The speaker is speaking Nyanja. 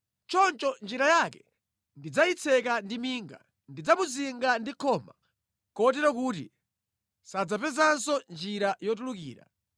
Choncho njira yake ndidzayitseka ndi minga; ndidzamuzinga ndi khoma kotero kuti sadzapezanso njira yotulukira.